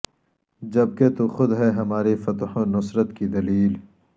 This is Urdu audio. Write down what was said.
جب کہ تو خود ہے ہماری فتح و نصرت کی دلیل